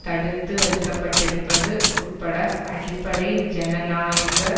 தடுத்து வைக்க பட்டிருப்பது உட்பட அடிப்படை ஜனநாயக